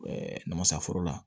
namasaforo la